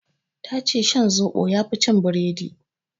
Ta ce shan zoɓo yafi cin biredi